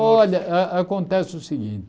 Olha, ah acontece o seguinte.